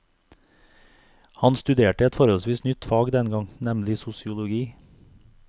Han studerte et forholdsvis nytt fag den gang, nemlig sosiologi.